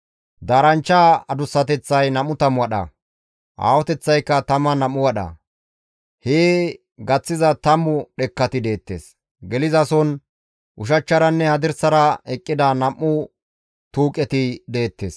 Daaranchcha adussateththay 20 wadha; aahoteththaykka 12 wadha. Hee gaththiza tammu dhekkati deettes. Gelizason ushachcharanne hadirsara eqqida nam7u tuuqeti deettes.